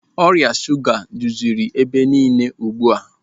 Ọrịa shuga jụziri ebe niile ugbu a.